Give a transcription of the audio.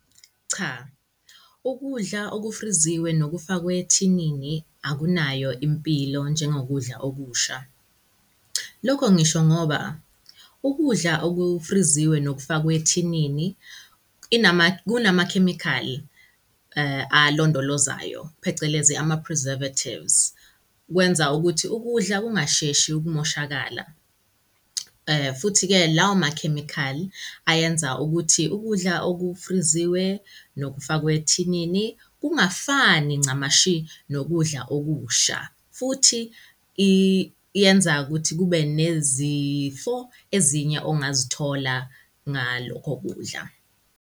Cha, ukudla okufriziwe nokufakwe ethinini akunayo impilo njengo kudla okusha. Lokho ngisho ngoba ukudla okufriziwe nokufakwe ethinini kunamakhemikhali alondolozayo, phecelezi ama-preservatives, kwenza ukuthi ukudla kungasheshi ukumoshakala. Futhi-ke lawo makhemikhali ayenza ukuthi ukudla okufriziwe nokufakwe ethinini kungafani ncamashi nokudla okusha, futhi iyenza ukuthi kube nezifo ezinye ongazithola ngalokho kudla.